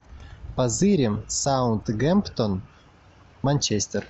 позырим саутгемптон манчестер